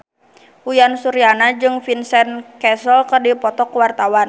Uyan Suryana jeung Vincent Cassel keur dipoto ku wartawan